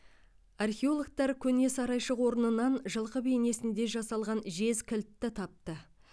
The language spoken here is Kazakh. археологтар көне сарайшық орнынан жылқы бейнесінде жасалған жез кілтті тапты